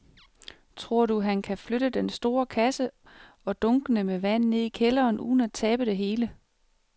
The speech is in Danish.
Tror du, at han kan flytte den store kasse og dunkene med vand ned i kælderen uden at tabe det hele?